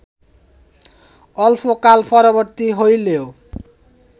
অল্পকাল-পরবর্তী হইলেও